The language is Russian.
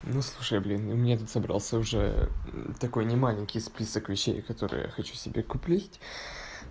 ну слушай блин у меня тут собрался уже такой немаленький список вещей которые я хочу себе купить